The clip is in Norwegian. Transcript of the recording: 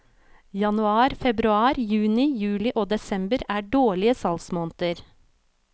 Januar, februar, juni, juli og desember er dårlige salgsmåneder.